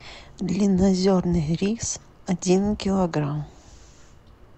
длиннозерный рис один килограмм